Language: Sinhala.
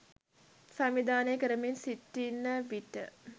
සංවිධානය කරමින් සිටින විට